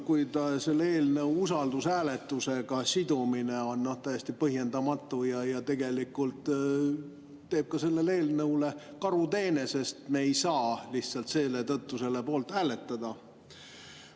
Kuid selle eelnõu usaldushääletusega sidumine on täiesti põhjendamatu ja tegelikult teeb sellele eelnõule karuteene, sest me ei saa lihtsalt selle tõttu selle poolt hääletada.